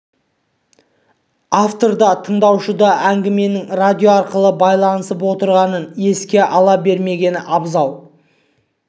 автор да тыңдаушы да әңгіменің радио арқылы байланысып отырғанын еске ала бермегені абзал